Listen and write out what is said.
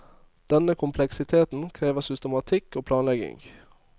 Denne kompleksiteten krever systematikk og planlegging.